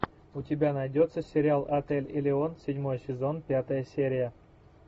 у тебя найдется сериал отель элеон седьмой сезон пятая серия